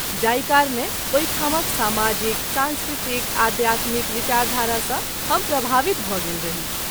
जाहि कारणे ओहि ठामक सामाजिक, सांस्कृतिक, आध्यात्मिक विचारधारा सँ हम प्रभावित भ’ गेल रही।